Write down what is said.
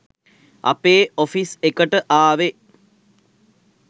අපේ ඔෆිස් එකට ආවෙ.